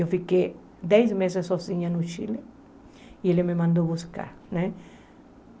Eu fiquei dez meses sozinha no Chile e ele me mandou buscar, né?